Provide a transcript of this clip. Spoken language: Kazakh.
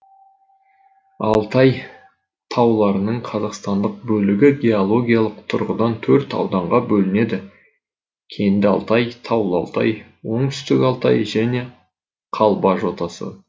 алтай тауларының қазақстандық бөлігі геологиялық тұрғыдан төрт ауданға бөлінеді кенді алтай таулы алтай оңтүстік алтай және қалба жотасы